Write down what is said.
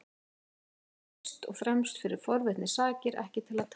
Ég kom hér fyrst og fremst fyrir forvitni sakir, ekki til að tala.